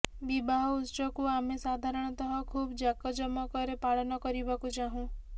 ବିବାହ ଉତ୍ସବକୁ ଆମେ ସାଧାରଣତଃ ଖୁବ ଜାକଜମକରେ ପାଳନ କରିବାପାଇଁ ଚାହିିୁଁ